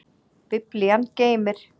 Biblían geymir.